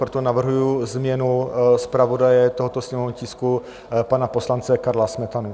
Proto navrhuji změnu zpravodaje tohoto sněmovního tisku, pana poslance Karla Smetanu.